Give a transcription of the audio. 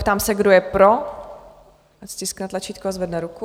Ptám se, kdo je pro, ať stiskne tlačítko a zvedne ruku.